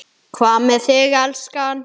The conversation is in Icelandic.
Hvað með þig, elskan.